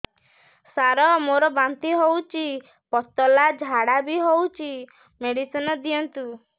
ସାର ମୋର ବାନ୍ତି ହଉଚି ପତଲା ଝାଡା ବି ହଉଚି ମେଡିସିନ ଦିଅନ୍ତୁ